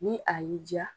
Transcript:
Ni a y'i diya